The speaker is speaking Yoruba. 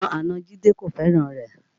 Àwọn àna Jide kò fẹ́ràn rẹ̀